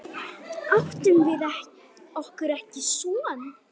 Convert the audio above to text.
Áttum við okkur ekki son?